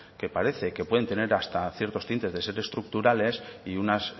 que parece que pueden tener hasta ciertos tintes de ser estructurales y unas